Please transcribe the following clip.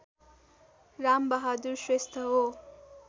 रामबहादुर श्रेष्ठ हो